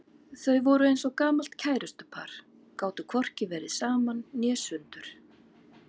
Þau voru eins og gamalt kærustupar, gátu hvorki verið saman né sundur.